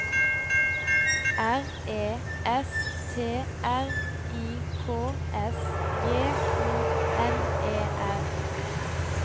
R E S T R I K S J O N E R